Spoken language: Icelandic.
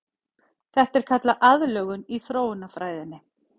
Þetta er kallað aðlögun í þróunarfræðinni.